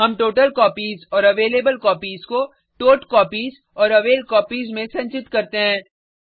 हम टोटलकॉपीज और अवेलेबलकोपीज को टॉटकॉपीज और अवेलकॉपीज में संचित करते हैं